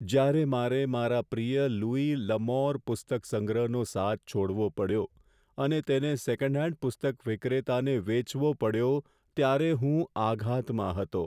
જ્યારે મારે મારા પ્રિય લુઈસ લ'અમોર પુસ્તક સંગ્રહનો સાથે છોડવો પડ્યો અને તેને સેકન્ડ હેન્ડ પુસ્તક વિક્રેતાને વેચવો પડ્યો ત્યારે હું આઘાતમાં હતો.